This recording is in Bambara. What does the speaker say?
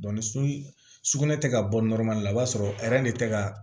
sugunɛ tɛ ka bɔ la i b'a sɔrɔ de tɛ ka